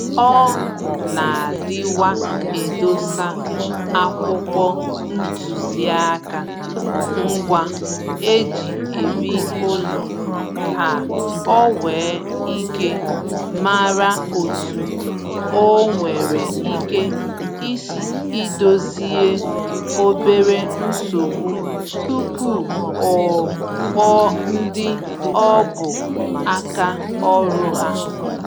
Ọ na-adịwa edosa akwụkwọ ntụziaka ngwa e ji ebi ụlọ ka o nwee íké mara otu o nwere ike isi Ịdòzie obere nsogbu tupu o kpọọ ndị ọ bụ aka ọrụ ha